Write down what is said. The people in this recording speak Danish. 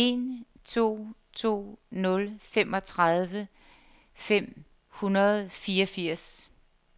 en to to nul femogtredive fem hundrede og fireogfirs